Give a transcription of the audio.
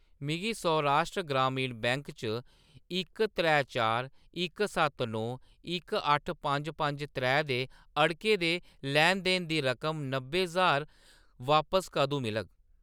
मिगी सौराष्ट्र ग्रामीण बैंक च इक त्रै चार इक सत्त नौ इक अट्ठ पंज पंज त्रै दे अड़के दे लैन-देन दी रकम नब्बै ज्हार बापस कदूं मिलग ?